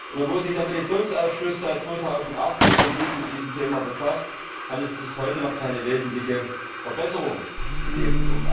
Obwohl sich der Petitionsausschuss seit 2008 intensiv mit diesem Thema befasst, hat es bis heute noch keine wesentliche Verbesserung gegeben.